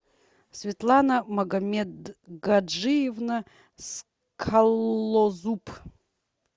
светлана магомедгаджиевна скалозуб